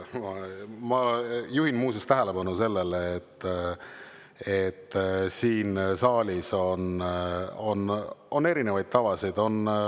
Ma juhin muuseas tähelepanu sellele, et siin saalis on olnud erinevaid tavasid.